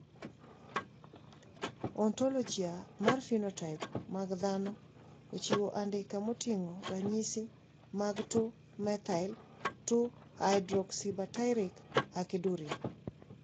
Ontologia mar phenotype mag dhano ochiwo andika moting`o ranyisi mag 2 methyl 3 hydroxybutyric aciduria.